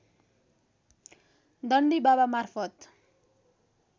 दण्डी बाबा मार्फत